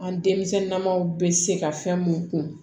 An denmisɛnninnaman bɛ se ka fɛn mun kun